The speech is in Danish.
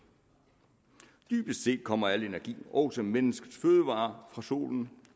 dybest set kommer al energi også menneskets fødevarer fra solen